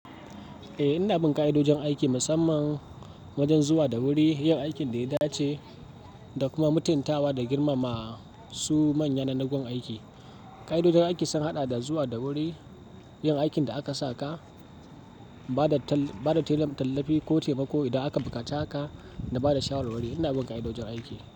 Eh, ina bin ƙa'idojin aiki, musamman wajen zuwa da wuri, yin aikin da ya dace da kuma mutuntawa da girmama su manya na, na gun aiki. Ƙa'idojin aiki sun haɗa da zuwa da wuri, yin aikin da aka sa ka, ba da tallafi ko taimako idan aka bukaci haka da ba da shawara wuri. Ina bin ƙa'idojin aiki.